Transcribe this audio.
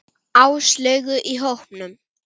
Áslaugu í hópnum.